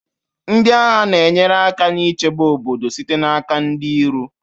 ndị agha na-enyere aka n'ichebe obodo site n'aka ndị iro